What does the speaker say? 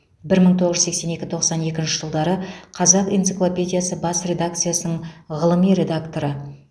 бір мың тоғыз жүз сексен екі тоқсан екінші жылдары қазақ энциклопедиясы бас редакциясының ғылыми редакторы